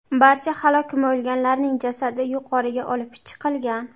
Barcha halok bo‘lganlarning jasadi yuqoriga olib chiqilgan.